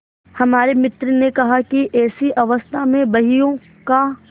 हमारे मित्र ने कहा कि ऐसी अवस्था में बहियों का